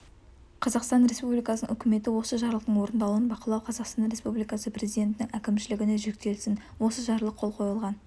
қазақстан республикасының үкіметі осы жарлықтың орындалуын бақылау қазақстан республикасы президентінің әкімшілігіне жүктелсін осы жарлық қол қойылған